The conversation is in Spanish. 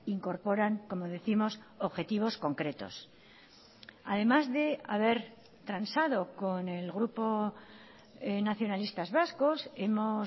incorporan como décimos objetivos concretos además de haber transado con el grupo nacionalistas vascos hemos